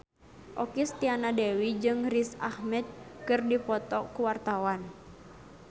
Okky Setiana Dewi jeung Riz Ahmed keur dipoto ku wartawan